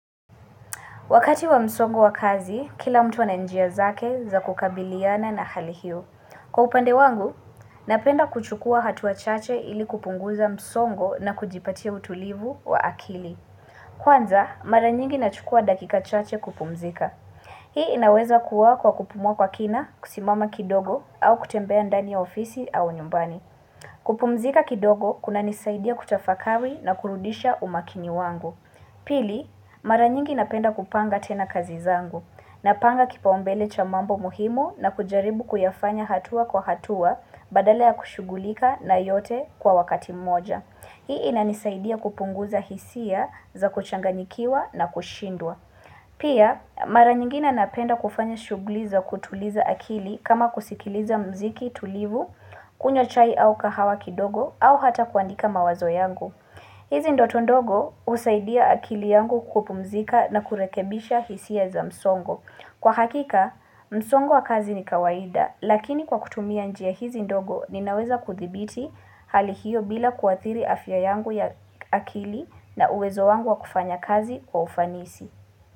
Wakati wa msongo wa kazi, kila mtu ana njia zake za kukabiliana na hali hio. Kwa upande wangu, napenda kuchukua hatua chache ili kupunguza msongo na kujipatia utulivu wa akili. Kwanza, mara nyingi nachukua dakika chache kupumzika. Hii inaweza kuwa kwa kupumua kwa kina, kusimama kidogo au kutembea ndani ya ofisi au nyumbani. Kupumzika kidogo kunanisaidia kutafakari na kurudisha umakini wangu. Pili, mara nyingi napenda kupanga tena kazi zangu. Napanga kipaombele cha mambo muhimu na kujaribu kuyafanya hatua kwa hatua badala ya kushugulika na yote kwa wakati moja. Hii inanisaidia kupunguza hisia za kuchanganikiwa na kushindwa. Pia, mara nyingine napenda kufanya shughuli za kutuliza akili kama kusikiliza mziki tulivu, kunywa chai au kahawa kidogo, au hata kuandika mawazo yangu. Hizi ndoto ndogo husaidia akili yangu kupumzika na kurekebisha hisia za msongo. Kwa hakika, msongo wa kazi ni kawaida, lakini kwa kutumia njia hizi ndogo ninaweza kuthibiti hali hiyo bila kuathiri afya yangu ya akili na uwezo wangu wa kufanya kazi wa ufanisi.